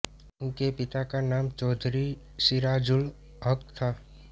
उनके पिता का नाम चौधरी सिराजुल हक़ था